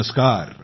नमस्कार